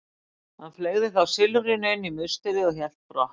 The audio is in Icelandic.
Hann fleygði þá silfrinu inn í musterið og hélt brott.